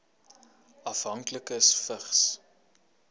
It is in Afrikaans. afhanklikes vigs